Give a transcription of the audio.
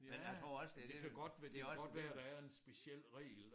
Ja men det kan godt være det kan godt være der er en speciel regel